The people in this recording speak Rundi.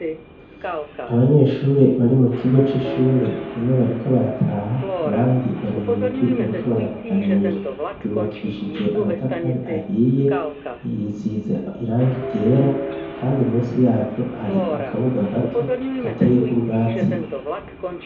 Abanyeshure bari mu kigo c'ishure, bamwe bariko barataha abandi bari mu mirwi bariko baraganira. Ryubakishije amatafari ahiye riyisize irangi ryera, kandi munsi yaryo hari akabuga gato kateyeko ubwatsi.